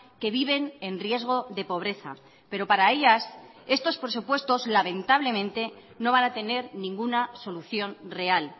que viven en riesgo de pobreza pero para ellas estos presupuestos lamentablemente no van a tener ninguna solución real